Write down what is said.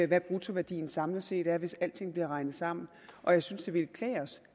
hvad bruttoværdien samlet set er hvis alting bliver regnet sammen og jeg synes det ville klæde os